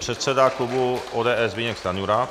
Předseda klubu ODS Zbyněk Stanjura.